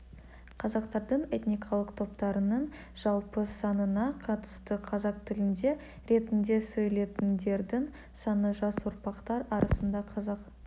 қазақтардың этникалық топтарының жалпы санына қатысты қазақ тілінде ретінде сөйлейтіндердің саны жас ұрпақтар арасында қазақ